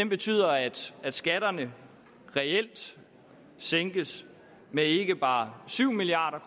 betyder at at skatterne reelt sænkes med ikke bare syv milliard